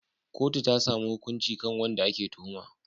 Kotu ta samu hukunci kan wanda ake tuhuma.